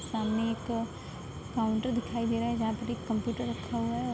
सामने एक काउंटर दिखाई दे रहा है जहाँ पर एक कम्‍प्‍यूटर रखा हुआ है और --